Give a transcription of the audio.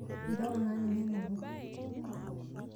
Nchooki naa ninye nabo.